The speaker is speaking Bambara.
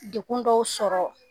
Dekun dɔw sɔrɔ